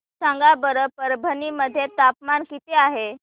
सांगा बरं परभणी मध्ये तापमान किती आहे